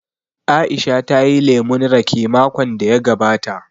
Aisha ta yi lemun raƙe makon da ya gabata